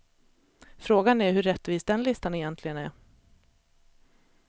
Frågan är hur rättvis den listan egentligen är.